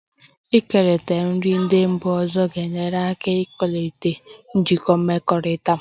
Ịkekọrịta efere ndị mba ọzọ ga-enyere aka ịkwalite njikọ mmekọrịta